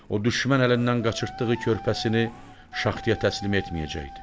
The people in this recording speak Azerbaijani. O düşmən əlindən qaçırtdığı körpəsini şaxtaya təslim etməyəcəkdi.